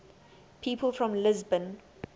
people from lisbon